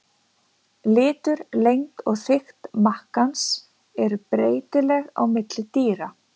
Litur, lengd og þykkt makkans eru breytileg á milli dýra.